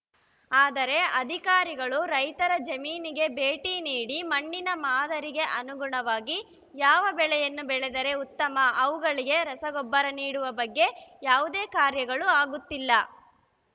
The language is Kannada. ಆದರೆ ಅಧಿಕಾರಿಗಳು ರೈತರ ಜಮೀನಿಗೆ ಭೇಟಿ ನೀಡಿ ಮಣ್ಣಿನ ಮಾದರಿಗೆ ಅನುಗುಣವಾಗಿ ಯಾವ ಬೆಳೆಯನ್ನು ಬೆಳೆದರೆ ಉತ್ತಮ ಅವುಗಳಿಗೆ ರಸಗೊಬ್ಬರ ನೀಡುವ ಬಗ್ಗೆ ಯಾವುದೇ ಕಾರ್ಯಗಳು ಆಗುತ್ತಿಲ್ಲ